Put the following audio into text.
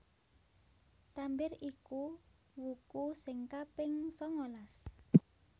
Tambir iku wuku sing kaping sangalas